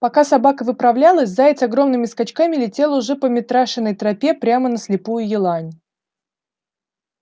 пока собака выправлялась заяц огромными скачками летел уже по митрашиной тропе прямо на слепую елань